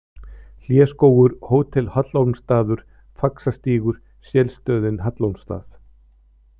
Hléskógur, Hótel Hallormsstaður, Faxastígur, Shellstöðin Hallormsstað